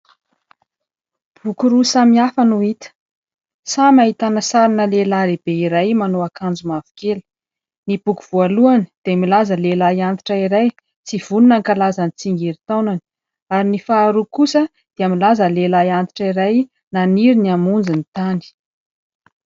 Boky roa samihafa no hita, samy ahitana sarina lehilahy lehibe iray manao akanjo mavokely, ny boky voalohany dia milaza lehilahy antitra iray tsy vonona hankalaza ny tsingerin-taonany ary ny faharoa kosa dia milaza lehilahy antitra iray maniry ny hamonjy ny tany.